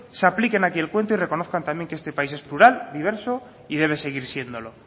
se apliquen aquí el cuento y reconozcan también que este país es plural diverso y debe seguir siéndolo